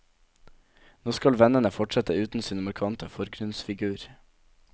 Nå skal vennene fortsette uten sin markante forgrunnsfigur.